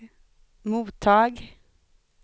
mottag